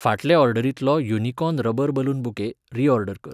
फाटले ऑर्डरींतलो unicorn rubber balloon bouquet, reorder कर.